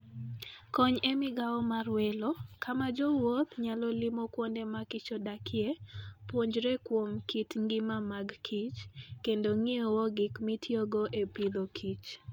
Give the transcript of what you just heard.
Kony e Migawo mar Welo: kama jowuoth nyalo limo kuonde ma kichodakie, puonjre kuom kit ngima mag kich, kendo ng'iewo gik mitiyogo e Agriculture and Food.